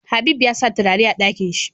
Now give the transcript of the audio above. Habib yasa turare a Ɗakinshi